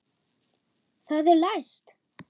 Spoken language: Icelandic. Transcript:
Það er læst!